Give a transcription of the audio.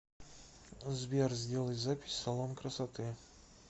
сбер сделай запись в салон красоты